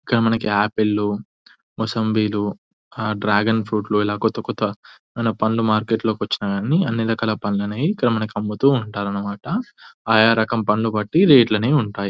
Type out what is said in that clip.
ఇక్కడ మనకి ఆపిల్లు ముసాబేలు డ్రాగన్ ఫ్రూట్ ఇలా కొత్తకొత్త ఎవైనా పండ్లు మార్కెట్ లోకి వచ్చాయి అన్ని రకాల పండ్లు అనేవి ఇక్కడ మనకు అమ్ముతూంటారు అన్నమాట. ఆయా రకము పండ్లు బట్టి రేట్లు లు అనేవి వుంటాయి.